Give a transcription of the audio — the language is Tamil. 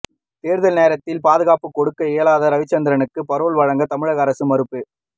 தேர்தல் நேரத்தில் பாதுகாப்பு கொடுக்க இயலாது ரவிச்சந்திரனுக்கு பரோல் வழங்க தமிழக அரசு மறுப்பு